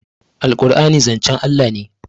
alqur'ani zancen Allah ne?